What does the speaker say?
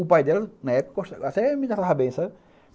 O pai dela, na época, até me tratava bem, sabe?